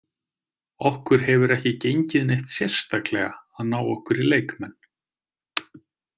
Okkur hefur ekki gengið neitt sérstaklega að ná okkur í leikmenn.